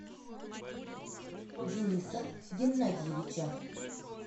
дениса геннадьевича